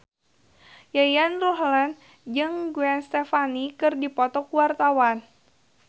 Yayan Ruhlan jeung Gwen Stefani keur dipoto ku wartawan